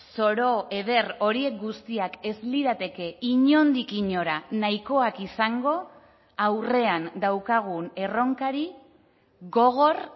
zoro eder hori guztiak ez lirateke inondik inora nahikoak izango aurrean daukagun erronkari gogor